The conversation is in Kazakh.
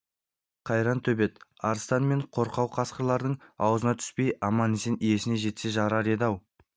қайран төбет арыстан мен қорқау қасқырлардың аузына түспей аман-есен иесіне жетсе жарар еді-ау